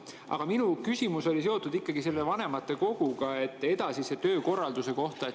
Aga minu küsimus oli ikkagi seotud vanematekoguga ja edasise töökorralduse kohta.